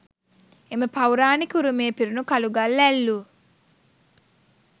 එම පෞරාණික උරුමය පිරුණු කළුගල් ඇල්ලූ